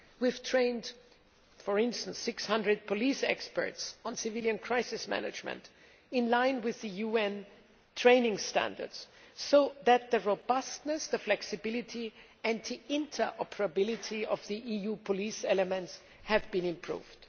We have trained 600 police experts on civilian crisis management in line with UN training standards, so that the robustness, the flexibility and the interoperability of the EU police elements have been improved.